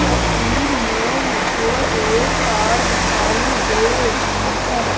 तस्वीर में मुझे एक कार दिखाई दे रही हैं।